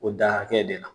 O da hakɛ de la